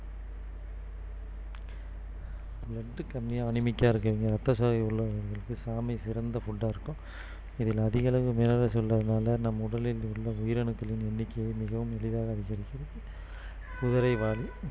blood கம்மியா anemic ஆ இருக்கவங்க இரத்தசோகை உள்ளவங்களுக்கு சாமை சிறந்த food ஆ இருக்கும் இதுல அதிகளவு minerals உள்ளதுனால நம் உடலில் உள்ள உயிரணுக்களின் எண்ணிக்கையை மிகவும் எளிதாக அதிகரிக்கிறது குதிரைவாலி